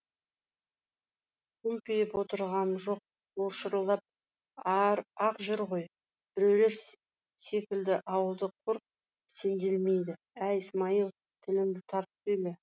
күмпиіп отырғам жоқ ол шырылдап ақ жүр ғой біреулер секілді ауылда құр сенделмейді әй смайыл тіліңді тартып сөйле